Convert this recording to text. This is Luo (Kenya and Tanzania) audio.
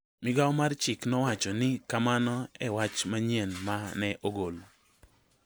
Migao mar chik nowacho ni kamano e wach manyien ma ne ogol.